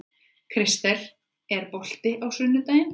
Kristel, er bolti á sunnudaginn?